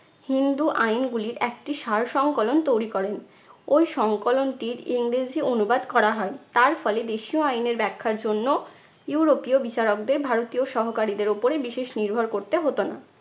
হিন্দু আইনগুলির একটি সারসংকলন তৈরি করেন। ওই সংকলনটির ইংরেজি অনুবাদ করা হয়। তার ফলে দেশীয় আইনের ব্যাখ্যার জন্য ইউরোপীয় বিচারকদের ভারতীয় সহকারীদের উপরে বিশেষ নির্ভর করতে হতো না।